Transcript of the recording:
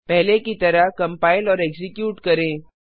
पहले की तरह कम्पाइल और एक्जीक्यूट करें